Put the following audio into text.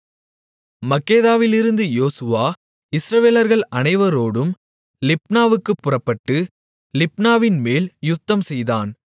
மக்கெதாவிலிருந்து யோசுவா இஸ்ரவேலர்கள் அனைவரோடும் லிப்னாவுக்குப் புறப்பட்டு லிப்னாவின்மேல் யுத்தம்செய்தான்